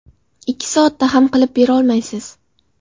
Ikki soatda ham qilib berolmaysiz.